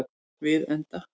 Við enda